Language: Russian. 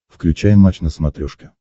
включай матч на смотрешке